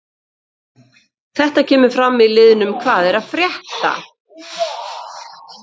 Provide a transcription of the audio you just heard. Þetta kemur fram í liðnum hvað er að frétta?